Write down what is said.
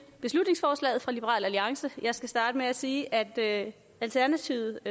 beslutningsforslaget fra liberal alliance skal jeg starte med at sige at alternativet